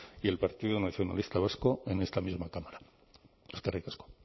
y el partido nacionalista vasco en esta misma cámara eskerrik asko